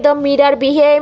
दो मिरर भी है |